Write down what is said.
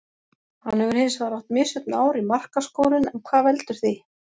Hann hefur hinsvegar átt misjöfn ár í markaskorun en hvað veldur því?